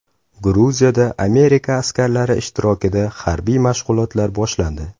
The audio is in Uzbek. Gruziyada Amerika askarlari ishtirokida harbiy mashg‘ulotlar boshlandi.